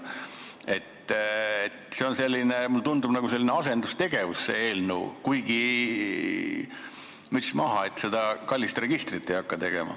See eelnõu on selline, mulle tundub, nagu asendustegevus, kuigi müts maha, et te seda kallist registrit ei hakka tegema.